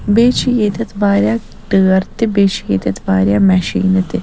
بیٚیہِ چھ ییٚتٮ۪تھ واریاہ ٹٲرتہِ بیٚیہِ چھ ییٚتٮ۪تھ واریاہ میشنیٖنہٕ .تہِ